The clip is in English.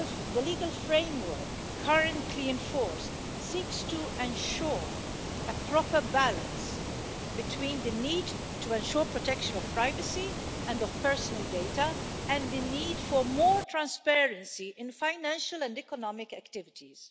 The legal framework currently in force seeks to ensure a proper balance between the need to ensure protection of privacy and of personal data and the need for more transparency in financial and economic activities.